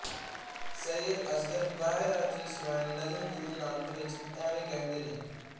ਸੱਯਦ ਅਸਗ਼ਰ ਬਹਰਾਇਚੀ ਸਵਾਨ੍ਹਿ ਨਜ਼ਮ ਗੁਰੂ ਨਾਨਕ ਵਿਚ ਐਵੇਂ ਕਹਿੰਦੇ ਨੇਂ